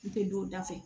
N tɛ don da fɛ